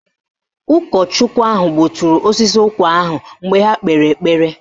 Ụkọchukwu ahụ gbuturu osisi ụkwa ahụ mgbe ha kpere ekpere